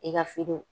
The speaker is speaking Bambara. I ka fini